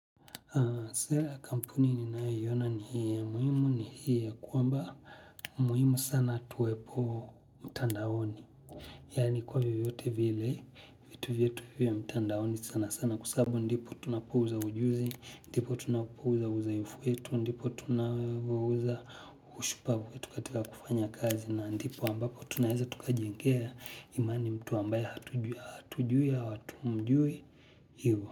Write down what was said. Sera ya kampuni ninayoiona ni hii ya muhimu ni hiii ya kwamba muhimu sana tuwepo mtandaoni. Yaani kwa vyote vyote vile vitu vyetu vyo mtandaoni sana sana kwa sababu ndipo tunapouza ujuzi ndipo tunapouza uzoefu wetu ndipo ndipo tunapouza ushupavu wetu katika kufanya kazi na ndipo ambapo tunaweza tukajengea imani mtu ambaye hatujui au hatumjui hivyo.